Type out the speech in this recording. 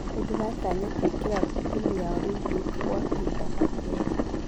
Nĩdiratanya kũigĩra timũ ya olympic gwa kahinda ga kerĩ